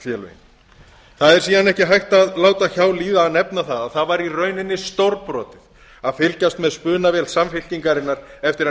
sveitarfélögin það er síðan ekki hægt að láta hjá líða að nefna það að það var í rauninni stórbrotið að fylgjast með spunavél samfylkingarinnar eftir að